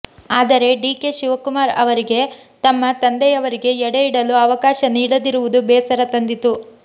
ಆದರೆ ಡಿಕೆ ಶಿವಕುಮಾರ್ ಅವರಿಗೆ ತಮ್ಮ ತಂದೆಯವರಿಗೆ ಎಡೆ ಇಡಲು ಅವಕಾಶ ನೀಡದಿರುವುದು ಬೇಸರ ತಂದಿತು